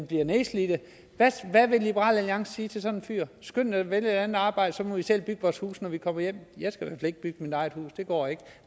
bliver nedslidte hvad vil liberal alliance sige til sådan en fyr skynd dig at vælge et andet arbejde og så må vi selv bygge vores huse når vi kommer hjem jeg skal i hvert fald ikke bygge mit eget hus det går ikke